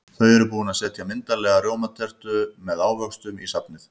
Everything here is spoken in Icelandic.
Þau eru búin að setja myndarlega rjómatertu með ávöxtum í safnið.